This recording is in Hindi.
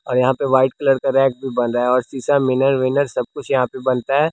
और यहाँ पे वाइट कलर का रैक भी बन रहा है और शीशा मिनर विनर सब कुछ यहाँ पे बनता हैं।